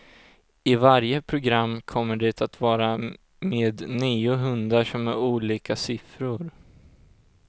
I varje program kommer det att vara med nio hundar som är olika siffror.